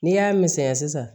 N'i y'a misɛnya sisan